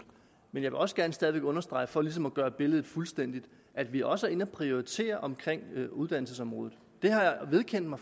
men jeg vil også gerne stadig væk understrege for ligesom at gøre billedet fuldstændigt at vi også er inde at prioritere omkring uddannelsesområdet det har jeg vedkendt mig